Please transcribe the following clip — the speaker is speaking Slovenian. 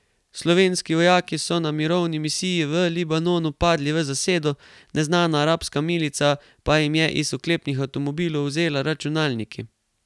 Slovenski vojaki so na mirovni misiji v Libanonu padli v zasedo, neznana arabska milica pa jim je iz oklepnih avtomobilov vzela računalniki.